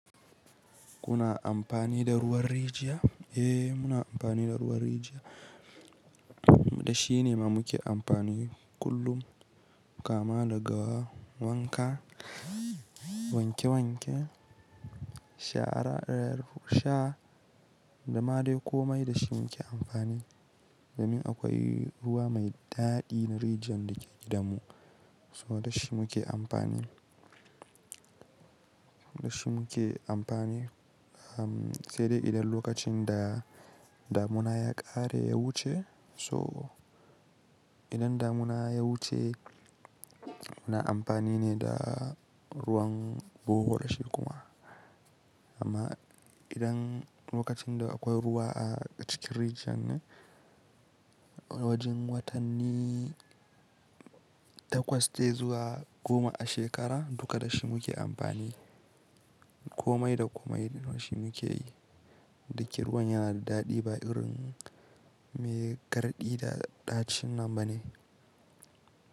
Kuna amfani da ruwan rijiya? Eh, muna amfani da ruwan rijiya da shi ne ma muke amfani kullum. Kama daga wanka, wanke wanke, shara ɗayar sha, da ma dai komai da shi muke amfani. Domin akwai ruwa mai daɗi na rijiyar da ke gidanmu, so da shi muke amfani. Da shi muke amfani, am sai dai idan lokacin da damuna ya ƙare ya wuce, so idan damuna ya wuce muna amfani ne da ruwan bohol shi kuma. Amma idan lokacin da akwai ruwa a cikin rijiyar ne, wajen watanni takwas dai zuwa goma a shekara duka da shi muke amfani. Komai da komai da shi muke yi. Da ke ruwan yana da daɗi ba irin mai garɗi da ɗacin nan ba ne.